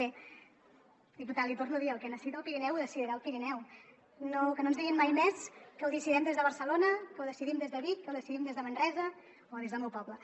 bé diputat l’hi torno a dir el que necessita el pirineu ho decidirà el pirineu que no ens diguin mai més que ho decidim des de barcelona que ho decidim des de vic que ho decidim des de manresa o des del meu poble